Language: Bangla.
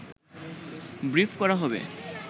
ব্রিফ করা হবে